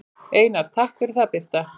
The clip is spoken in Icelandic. Einar: Takk fyrir það Birta.